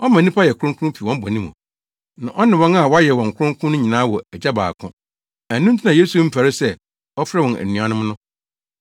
Ɔma nnipa yɛ kronkron fi wɔn bɔne mu. Na ɔne wɔn a wayɛ wɔn kronkron no nyinaa wɔ Agya baako. Ɛno nti na Yesu mfɛre sɛ ɔfrɛ wɔn anuanom no.